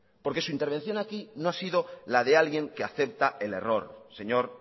porque su intervención aquí no ha sido la de alguien que acepta el error señor